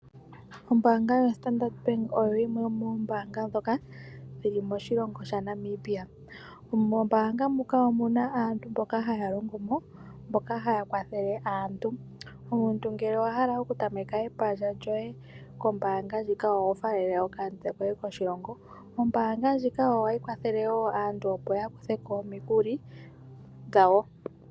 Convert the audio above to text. Ombaanga yoStandard Bank oyo yimwe yomoombaanga ndhoka dhi li moshilongo shaNamibia. Mombaanga muka omuna aantu mboka haya longo mo mboka haya kwathele aantu. Omuntu ngele owa hala okutameka epandja lyoye kombaanga ndjika oho faalele okamutse koshilongo. Ombaanga ndjika ohayi kwathele wo aantu opo ya kuthe ko omikuli dhawo.